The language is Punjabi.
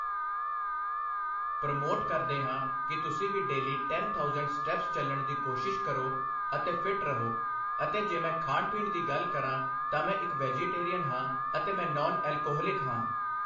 ਪਰੋਮੋਟ ਕਰਦੇ ਹਾਂ ਕਿ ਤੁਸੀਂ ਵੀ ਡੇਲੀ ਟੈਨ ਥਾਊਸੈਂਡ ਸਟੈਪਸ ਚੱਲਣ ਦੀ ਕੋਸ਼ਿਸ਼ ਕਰੋ ਅਤੇ ਫਿੱਟ ਰਹੋ ਅਤੇ ਜੇ ਮੈਂ ਖਾਣ ਪੀਣ ਦੀ ਗੱਲ ਕਰਾਂ ਤਾਂ ਮੈਂ ਇੱਕ ਵੈਜੀਟੇਰੀਅਨ ਹਾਂ ਅਤੇ ਮੈਂ ਨੌਨ ਐਲਕੋਹਲਿਕ ਹਾਂ